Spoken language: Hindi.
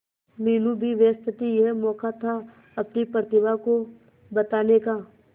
मीनू भी व्यस्त थी यह मौका था अपनी प्रतिभा को बताने का